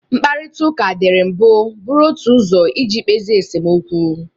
Mkparịtaụka dịri mbụ bụrụ otu ụzọ iji kpezie esemokwu.